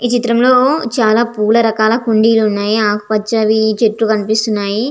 ఈ చిత్రంలో చాలా పూల రకాల కుండీలు ఉన్నాయి ఆకుపచ్చవి చెట్లు కనిపిస్తున్నాయి.